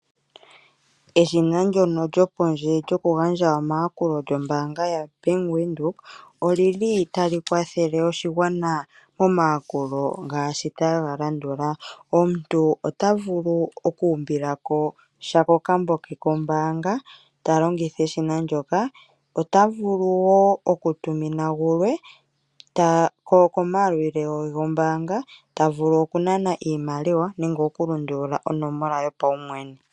Eshina ndono lyopondje lyokugandja omayakulo lyombaanga yaBank Windhoek oli li tali kwathele oshigwana momayakulo ngaashi taga landula: omuntu ota vulu okuumbila ko sha kokambo ke kombaanga talongitha eshina ndyoka, ota vulu wo okutumina gulwe komayalulilo ge gombaanga ye, ta vulu okunana iimaliwa nenge okulundulula onomola ye yopaumwene.